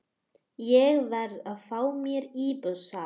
Ég verð að fá mér íbúð þar.